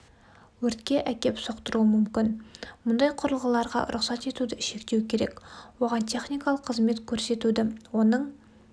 өртке әкеп соқтыруы мүмкін мұндай құрылғыларға рұқсат етуді шектеу керек оған техникалық қызмет көрсетуді оның